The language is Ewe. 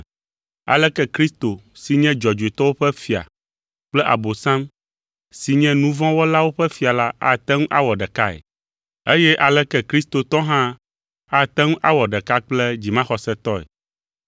Aleke Kristo si nye dzɔdzɔetɔwo ƒe fia kple Abosam si nye nu vɔ̃ wɔlawo ƒe fia la ate ŋu awɔ ɖekae? Eye aleke kristotɔ hã ate ŋu awɔ ɖeka kple dzimaxɔsetɔ?